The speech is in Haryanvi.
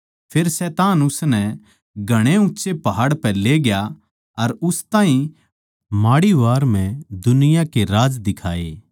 फेर शैतान उसनै घणे ऊँच्चे पहाड़ पै लेग्या अर उस ताहीं माड़ी वार म्ह दुनिया का राज दिखाए